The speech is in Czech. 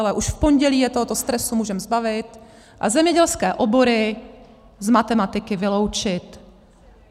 Ale už v pondělí je tohoto stresu můžeme zbavit a zemědělské obory z matematiky vyloučit.